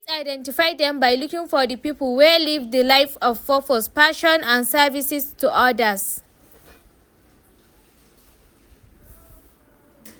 I fit identify dem by looking for di people wey live di life of purpose, passion and services to odas.